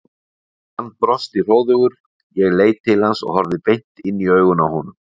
Hann brosti hróðugur, ég leit til hans og horfði beint inn í augun á honum.